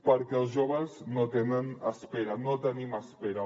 perquè els joves no tenen espera no tenim espera